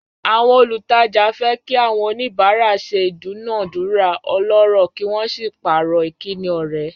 Àwọn olùtajà fẹ́ kí àwọn oníbàárà ṣe ìdúnàádúrà ọlọ́rọ̀ kí wọ́n sì pààrọ̀ ìkíni ọ̀rẹ́.